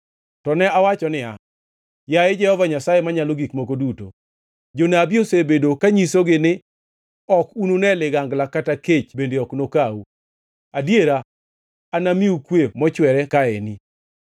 To ne awacho niya, “Yaye, Jehova Nyasaye Manyalo Gik Moko Duto, jonabi osebedo kanyisogi ni, ‘Ok unune ligangla kata kech bende ok nokau. Adiera, anamiu kwe mochwere kaeni.’ ”